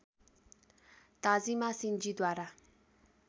Tajima सिन्जीद्वारा